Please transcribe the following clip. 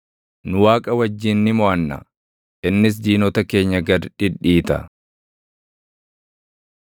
Nu Waaqa wajjin ni moʼanna; innis diinota keenya gad dhidhiita.